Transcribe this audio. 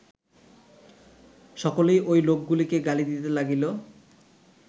সকলেই ঐ লোকগুলিকে গালি দিতে লাগিল